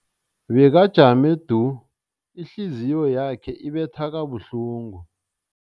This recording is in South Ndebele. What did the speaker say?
Bekajame du, ihliziyo yakhe ibetha kabuhlungu.